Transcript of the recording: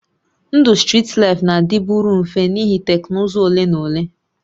Ndụ strit laịfụ na-adịburịrị mfe n'ihi teknụzụ ole na ole